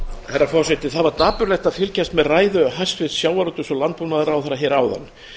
herra forseti það var dapurlegt að fylgjast með ræðu hæstvirts sjávarútvegs og landbúnaðarráðherra hér áðan